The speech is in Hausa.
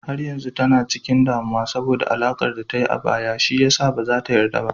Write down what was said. Har yanzu tana cikin damuwa saboda alakar da ta yi a baya, shi ya sa ba za ta yarda ba.